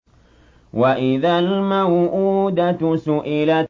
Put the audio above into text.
وَإِذَا الْمَوْءُودَةُ سُئِلَتْ